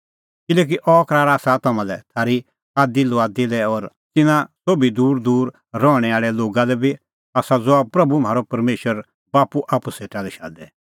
किल्हैकि अह करार आसा तम्हां लै थारी आदीलुआदी लै और तिन्नां सोभी दूरदूर रहणैं आल़ै लोगा लै बी आसा ज़हा प्रभू म्हारअ परमेशर बाप्पू आप्पू सेटा लै शादे